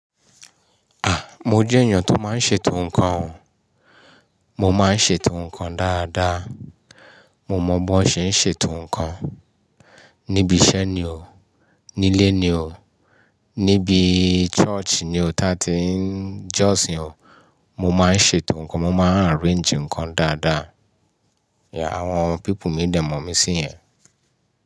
A! Mo jẹ́ èèyàn tó máa ń ṣètò nǹkan o. Mo máa ń ṣètò nǹkan dáadáa. Mo mọ̀ bó ṣe ń ṣètò nǹkan. Nibi iṣẹ́ ni o, nílé ni o, níbi church ni o tá tí n jọ́sìn o, mo máa ń ṣètò nǹkan. Mo máa n arrange nǹkan dáadáa. Yeah, àwọn people mi nbẹ̀ mọ̀ mí sí yẹn.